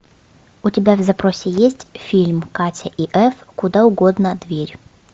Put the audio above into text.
у тебя в запросе есть фильм катя и эф куда угодно дверь